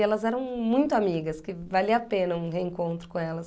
E elas eram muito amigas, que valia a pena um reencontro com elas.